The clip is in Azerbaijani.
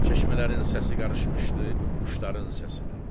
Çeşmələrin səsi qarışmışdı quşların səsinə.